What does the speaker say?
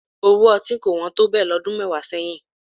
Owó ọtí kò wọ́n tó bẹ́ẹ̀ lọ́dún mẹ́wàá sẹ́yìn